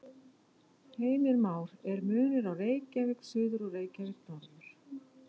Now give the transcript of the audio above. Heimir Már: Er munur á Reykjavík suður og Reykjavík norður?